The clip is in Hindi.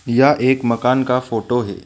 यह एक मकान का फोटो है।